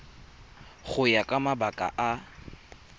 go ya ka mabaka a